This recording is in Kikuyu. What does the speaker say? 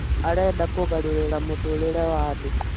arenda kũgarũrĩra mũtũũrĩre wa andũ